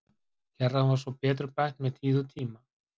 Kerran var svo betrumbætt með tíð og tíma.